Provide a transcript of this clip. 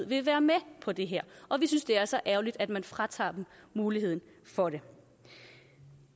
vil være med på det her og vi synes det er så ærgerligt at man fratager dem muligheden for det